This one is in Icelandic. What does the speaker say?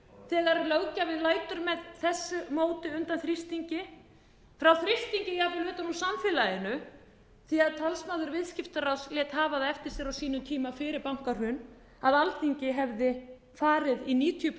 grafalvarlegt þegar löggjafinn lætur með þessu móti undan þrýstingi frá þrýstingi jafnvel utan úr samfélaginu því talsmaður viðskiptaráðs lét hafa það eftir sér á sínum tíma fyrir bankahrun að alþingi hefði farið í níutíu